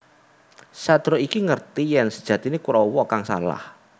Satria iki ngerti yèn sejatiné Kurawa kang salah